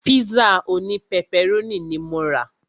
Pízà òní pẹpẹrónì ní mo rà.